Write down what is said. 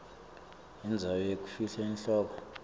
indzawo yekufihla inhloko